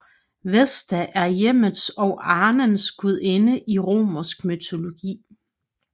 Vesta er hjemmets og arnens gudinde i romersk mytologi